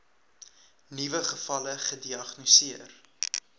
nuwe gevalle gediagnoseer